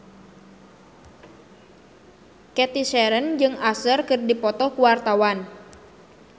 Cathy Sharon jeung Usher keur dipoto ku wartawan